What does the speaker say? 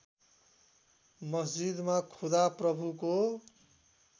मस्जिदमा खुदा प्रभुको